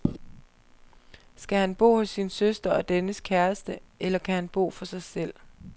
Skal han bo hos sin søster og dennes kæreste, eller kan han bo for sig selv?